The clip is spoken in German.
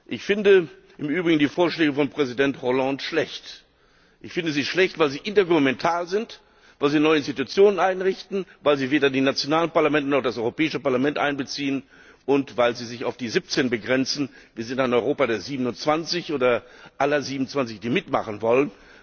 Ich finde im Übrigen die Vorschläge von Präsident Hollande schlecht. Ich finde sie schlecht, weil sie intergouvernemental sind, weil sie neue Institutionen einrichten, weil sie weder die nationalen Parlamente noch das Europäische Parlament einbeziehen und weil sie sich auf die 17 begrenzen Wir sind ein Europa der 27 oder aller 27, die mitmachen wollen.